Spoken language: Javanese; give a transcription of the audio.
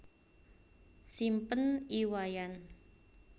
Simpen I Wayan